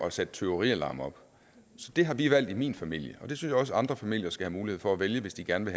at sætte tyverialarm op så det har vi valgt i min familie og det synes jeg også at andre familier skal have mulighed for at vælge hvis de gerne